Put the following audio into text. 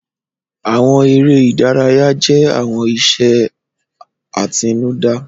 Àwọn eré ìdárayá jẹ́ àwọn iṣẹ́ àtinúdá